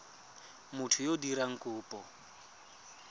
motho yo o dirang kopo